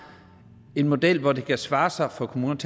en model hvor det kan svare sig for kommunerne